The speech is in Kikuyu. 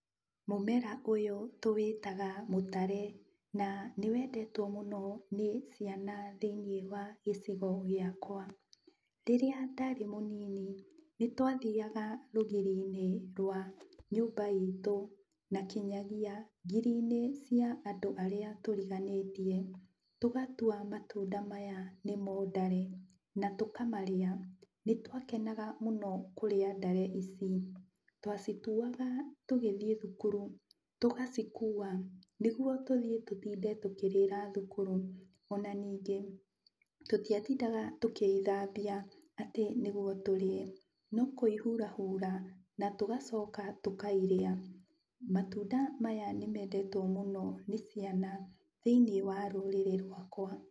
Mũmera ũyũ tũwĩtaga mũtare, na nĩwendetwo mũno nĩ ciana thĩiniĩ wa gĩcigo gĩakwa. Rĩrĩa ndarĩ mũnini nĩtwathiaga rũgiri-inĩ rwa nyũmba itũ, na kinyagia ngiri-inĩ cia andũ arĩa tũriganĩtie. Tũgatua matunda maya nĩmo ndare na tũkamarĩa. Nĩtwakenaga mũno kũrĩa ndare ici, twacituaga tũgĩthiĩ thukuru, tũgacikua nĩguo tũthiĩ tũtinde tũkĩrĩra thukuru. Ona ningĩ, tũtiatindaga tũkĩithambia atĩ nĩguo tũrĩe, no kũihurahura, na tũgacoka tũkairĩa. Matunda maya nĩmendetwo mũno nĩ ciana thĩiniĩ wa rũrĩrĩ rwakwa.